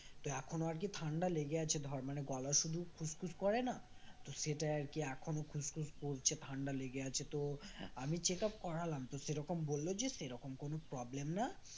তো এখনো আর কি ঠান্ডা লেগে আছে ধর মানে গলা শুধু খুসখুস করে না তো সেটাই আর কি এখনো খুসখুস করছে, ঠান্ডা লেগে আছে তো আমি check up করালাম তো সেরকম বলল তো সেরকম কোন problem না